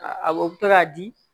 Awɔ o bɛ to k'a di